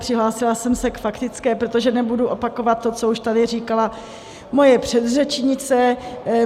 Přihlásila jsem se k faktické, protože nebudu opakovat to, co už tady říkala moje předřečnice.